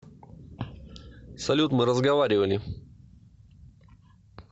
салют мы разговаривали